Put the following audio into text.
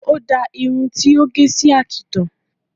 O dáa irun ti ó gẹ̀ sí àkìtàn